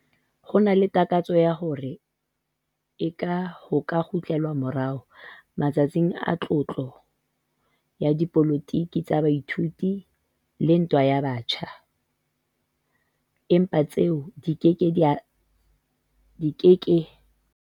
Ho na le takatso ya hore eke ho ka kgutlelwa morao 'matsatsing a tlotla' ya dipolotiki tsa baithuti le ntwa ya batjha, empa tseo di ke ke tsa hlola di phetwa hape.